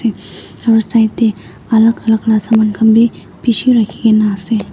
aro side teh alak alak la saman kan bi peshi rakhikena ase.